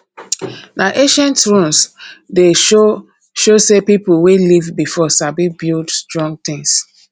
na ancient ruins dey show show say people wey live before sabi build strong things